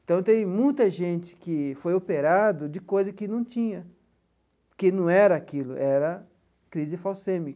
Então tem muita gente que foi operado de coisa que não tinha, que não era aquilo, era crise falcêmica.